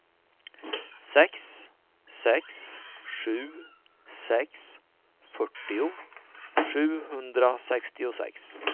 sex sex sju sex fyrtio sjuhundrasextiosex